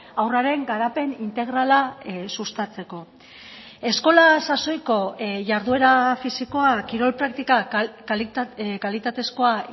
haurraren garapen integrala sustatzeko eskola sasoiko jarduera fisikoa kirol praktikak kalitatezkoa